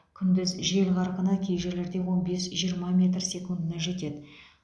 күндіз жел қарқыны кей жерлерде он бес жиырма метр секундына жетеді